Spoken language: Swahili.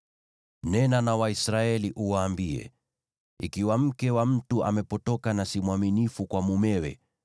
“Nena na Waisraeli uwaambie: ‘Ikiwa mke wa mtu amepotoka na si mwaminifu kwa mumewe,